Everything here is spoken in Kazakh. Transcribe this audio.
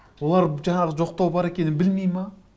олар жаңағы жоқтау бар екенін білмей ме